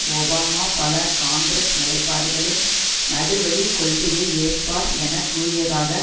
Obama பல Congress நிலைப்பாடுகளின் நடுவழிக் கொள்கையை ஏற்பார் என கூறியதாக